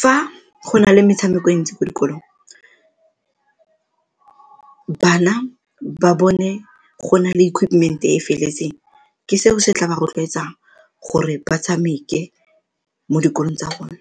Fa go na le metshameko e ntsi ko dikolong bana ba bone go na le equipment-e e e feletseng ke seo se tla ba rotloetsang gore ba tshameke mo dikolong tsa rona.